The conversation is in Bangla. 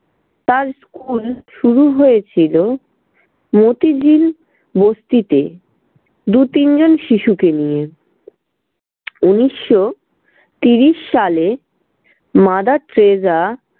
তার school শুরু হয়েছিল মোতিঝিল বস্তিতে দু তিনজন শিশুকে নিয়ে। উনিশশো তিরিশ সালে mother টেরেসা